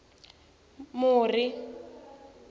muri